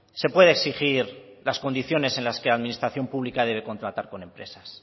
se puede exigir las condiciones en la que administración pública debe contratar con empresas